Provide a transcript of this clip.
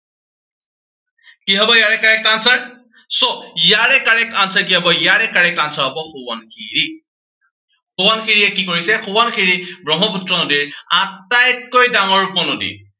কি হব ইয়াৰে correct answer, so ইয়াৰে correct answer কি হব, ইয়াৰে correct answer হব, সোৱণশিৰি সোৱণশিৰিয়ে কি কৰিছে, সোৱণশিৰি ব্ৰহ্মপুত্ৰ নদীৰ আটাইতকৈ ডাঙৰ উপ নদী।